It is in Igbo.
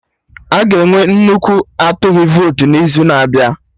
Aga enwe nnukwu atụghị votu n'izu na-abịa